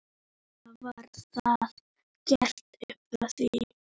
Svona var það gert upp frá því.